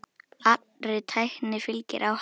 Allri tækni fylgir áhætta.